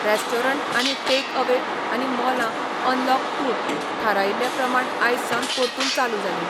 Restaurant आनी take away आनी मॉलां अनलॉक टूंत थारायिल्ले प्रमाण आयज सावन परतून चालू जालीं.